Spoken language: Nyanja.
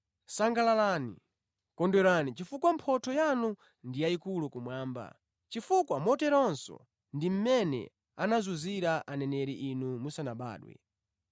Sangalalani, kondwerani chifukwa mphotho yanu ndi yayikulu kumwamba, chifukwa moterenso ndi mmene anazunzira aneneri inu musanabadwe.